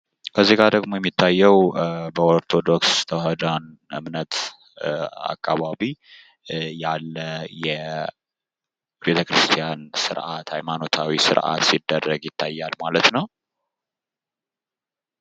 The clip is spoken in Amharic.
እዚጋ ደሞ የሚታየው በኦርቶዶክስ ተውህዶአን እምነት አካባቢ ያለ የቤተ ክርስቲያን ስርአት፤ ሃይማኖታዊ ስረአት ሲደረግ ይታያል ማለት ነው።